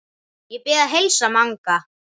Ég bið að heilsa Manga!